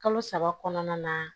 Kalo saba kɔnɔna na